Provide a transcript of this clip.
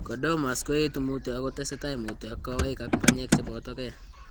Chordomas ko etu mutyo, ako tesetai mutyo eng' kawaik ak banyek che boto gee.